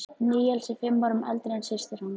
Níels er fimm árum eldri en systir hans.